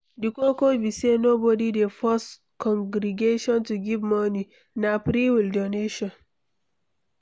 Di koko be sey nobody dey force congregation to give moni, na free-will donation